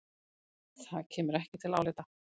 Það kemur ekki til álita.